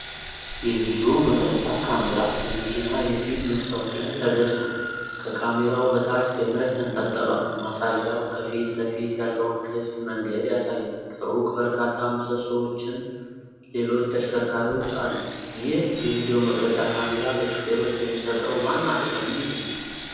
የቪዲዮ መቅረጫ ካሜራ በመኪና የፊት መስታወት ላይ ተገጥሟል። ከካሜራው በታች ገመድ ተንጠልጥሏል፤ ማሳያው ከፊት ለፊት ያለውን ክፍት መንገድ ያሳያል። ከሩቅ በርካታ ምሰሶዎችና ሌሎች ተሽከርካሪዎች አሉ። ይህ የቪዲዮ መቅረጫ ካሜራ ለሹፌሮች የሚሰጠው ዋና ጥቅም ምንድን ነው?